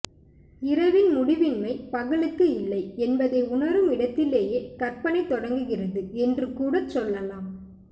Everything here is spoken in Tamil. இரவின் முடிவின்மை பகலுக்கு இல்லை என்பதை உணரும் இடத்திலேயே கற்பனை தொடங்குகிறது என்றுகூடச் சொல்லலாம்